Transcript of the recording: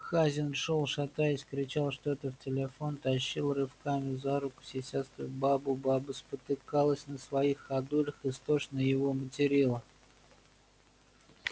хазин шёл шатаясь кричал что-то в телефон тащил рывками за руку сисястую бабу баба спотыкалась на своих ходулях истошно его материла